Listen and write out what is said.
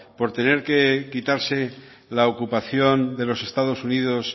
por tener que quitarse la ocupación de los estados unidos